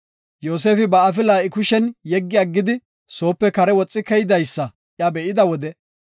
Yoosefi ba afila I kushiyan yeggi aggidi, soope kare woxi keydaysa iya be7ida wode,